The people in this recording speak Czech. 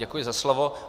Děkuji za slovo.